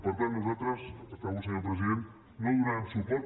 per tant nosaltres acabo senyor president no hi donarem suport